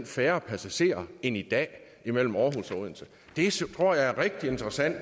færre passagerer end i dag mellem aarhus og odense det tror jeg er rigtig interessant